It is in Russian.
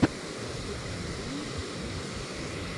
букадеми в ютюбе